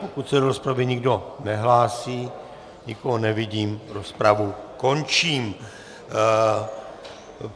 Pokud se do rozpravy nikdo nehlásí, nikoho nevidím, rozpravu končím.